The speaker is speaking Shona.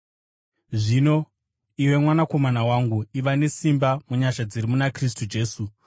Zvino iwe mwanakomana wangu, iva nesimba munyasha dziri muna Kristu Jesu.